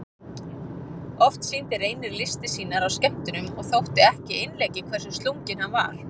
Oft sýndi Reynir listir sínar á skemmtunum og þótti ekki einleikið hversu slunginn hann var.